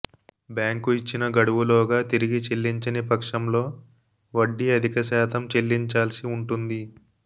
bank ఇచ్చిన గడువులోగా తిరిగి చెల్లించని పక్షంలో వడ్డీ అధికశాతం చెల్లించాల్సి ఉంటుంది